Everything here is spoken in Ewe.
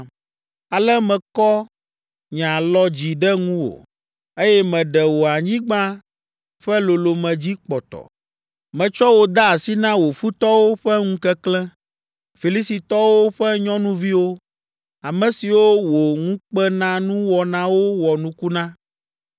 Ale mekɔ nye alɔ dzi ɖe ŋuwò, eye meɖe wò anyigba ƒe lolome dzi kpɔtɔ. Metsɔ wò de asi na wò futɔwo ƒe ŋukeklẽ, Filistitɔwo ƒe nyɔnuviwo, ame siwo wò ŋukpenanuwɔnawo wɔ nuku na.